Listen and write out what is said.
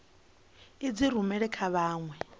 u dzi rumela kha vhanwe